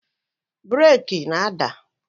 Breeki na-ada